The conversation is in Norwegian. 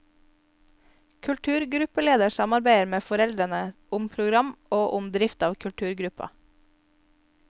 Kulturgruppeleder samarbeider med foreldrene om program og om drift av kulturgruppa.